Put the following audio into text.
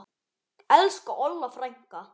Elsku Olla frænka.